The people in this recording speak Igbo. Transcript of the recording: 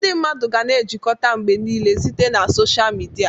Ndị mmadụ ga-na ejikọta mgbe niile site na sọsha mịdia.